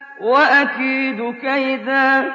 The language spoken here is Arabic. وَأَكِيدُ كَيْدًا